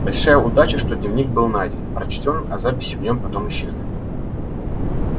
большая удача что дневник был найден прочтён а записи в нём потом исчезли